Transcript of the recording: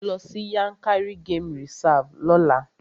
Lọ sí Yankari game reserve lọ́la!